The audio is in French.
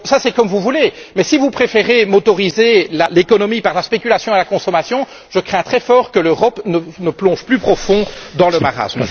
C'est comme vous voulez, mais si vous préférez favoriser l'économie par la spéculation et la consommation, je crains très fort que l'Europe ne plonge plus profond dans le marasme.